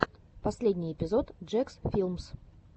последний эпизод джекс филмс